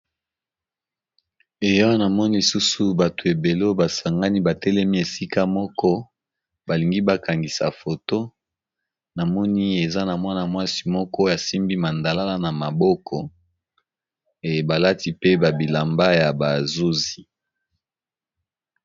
Awa na moni lisusu bato ebelo basangani batelemi esika moko balingi bakangisa foto na moni eza na mwana mwasi moko yasimbi mandalala na maboko ebalati pe babilamba ya bazuzi.